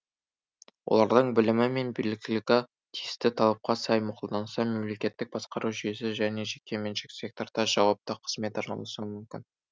олардың білімі мен біліктілігі тиісті талапқа сай мақұлданса мемлекеттік басқару жүйесі және жеке меншік секторда жауапты қызметке орналасуы мүмкін